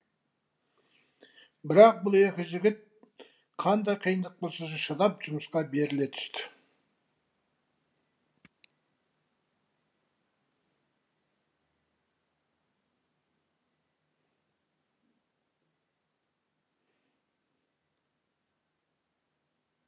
бірақ бұл екі жігіт қандай қиындық болса да шыдап жұмысқа беріле түсті